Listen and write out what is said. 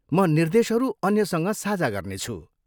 म निर्देशहरू अन्यसँग साझा गर्नेछु।